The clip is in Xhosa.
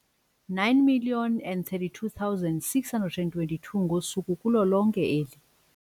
9 032 622 ngosuku kulo lonke eli.